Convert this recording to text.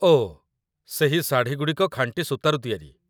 ଓ! ସେହି ଶାଢ଼ୀଗୁଡ଼ିକ ଖାଣ୍ଟି ସୂତାରୁ ତିଆରି